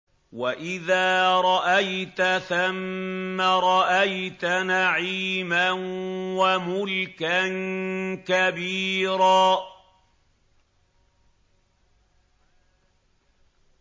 وَإِذَا رَأَيْتَ ثَمَّ رَأَيْتَ نَعِيمًا وَمُلْكًا كَبِيرًا